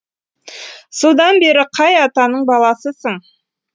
содан бері қай атаның баласысың